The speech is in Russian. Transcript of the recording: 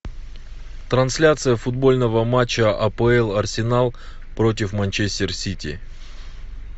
трансляция футбольного матча апл арсенал против манчестер сити